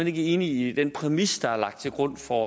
ikke enig i den præmis der er lagt til grund for